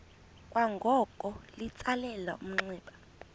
kwangoko litsalele umnxeba